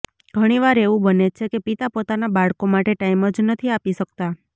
ઘણીવાર એવું બને છે કે પિતા પોતાના બાળકો માટે ટાઇમ જ નથી આપી શકતા